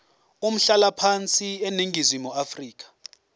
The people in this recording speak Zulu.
umhlalaphansi eningizimu afrika